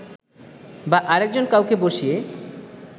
বা আরেকজন কাউকে বসিয়ে